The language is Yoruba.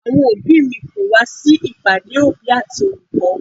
Àwọn òbí mi kò wá sí ìpàdé òbí àti olùkọ́.